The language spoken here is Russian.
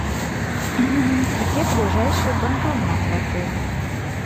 где ближайший банкомат в отеле